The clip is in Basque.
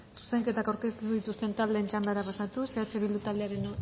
zuzenketak aurkeztu dituzten taldeen txandara pasatuz eh bildu taldearen